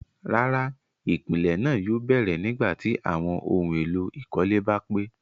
Rárá, ipilẹ̀ náà yóò bẹ̀rẹ̀ nígbàtí awọn ohun èlò ìkọ́lé bá pé